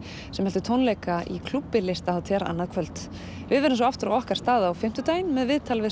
sem heldur tónleika í klúbbi listahátíðar annað kvöld við verðum svo aftur á okkar stað á fimmtudaginn með viðtal við